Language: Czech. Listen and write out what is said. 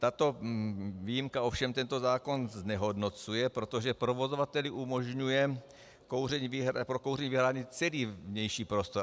Tato výjimka ovšem tento zákon znehodnocuje, protože provozovateli umožňuje pro kouření vyhradit celý vnější prostor.